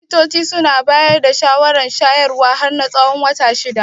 Likitoci suna bayar da shawarar shayarwa har na tsawon watanni shida.